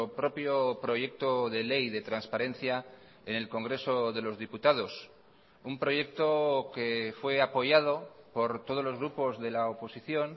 propio proyecto de ley de transparencia en el congreso de los diputados un proyecto que fue apoyado por todos los grupos de la oposición